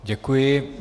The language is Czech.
Děkuji.